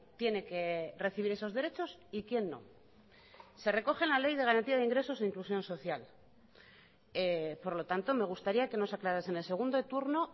tiene que recibir esos derechos y quién no se recoge en la ley de garantía de ingresos e inclusión social por lo tanto me gustaría que nos aclarase en el segundo turno